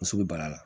Muso bɛ bana la